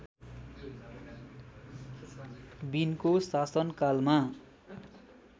विनको शासनकालमा